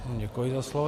Děkuji za slovo.